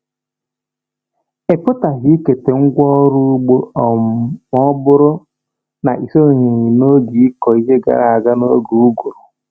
Ị pụghị ikete ngwa ọrụ ugbo um ma ọ bụrụ na ị sonyeghi n’oge ịkụ ihe gara aga n’oge uguru.